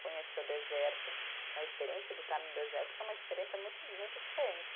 Conhecer o deserto, a experiência de estar no deserto, que é uma experiência muito, muito diferente.